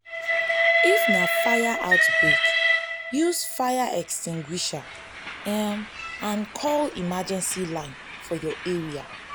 if na fire outbreak use fire extinguisher um and call emergency line for your area